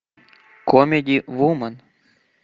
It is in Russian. комеди вумен